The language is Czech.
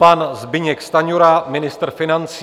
Pan Zbyněk Stanjura, ministr financí.